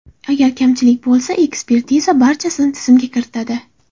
Agar kamchilik bo‘lsa, ekspertiza barchasini tizimga kiritadi.